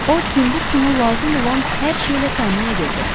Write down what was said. O Timbuktunu lazım olan hər şeylə təmin edirdi.